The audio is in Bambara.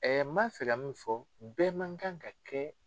Ɛɛ n ma fɛ ka min fɔ, bɛɛ man kan ka kɛ